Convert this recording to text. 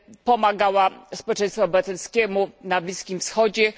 Pomagała społeczeństwu obywatelskiemu na Bliskim Wschodzie.